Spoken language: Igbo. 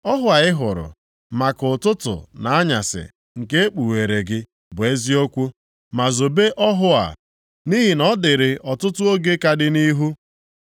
“Ọhụ a ị hụrụ, maka ụtụtụ na anyasị nke ekpughere gị bụ eziokwu, ma zobe ọhụ a, nʼihi na ọ dịrị ọtụtụ oge ka dị nʼihu.”